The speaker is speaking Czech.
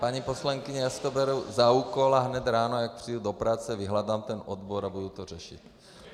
Paní poslankyně, já si to beru za úkol a hned ráno, jak přijdu do práce, vyhledám ten odbor a budu to řešit.